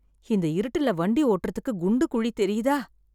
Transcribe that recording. இந்த இருட்டுல வண்டி ஓட்டறதுக்கு குண்டு குழி தெரியுதா?